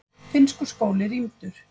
Finnskur skóli rýmdur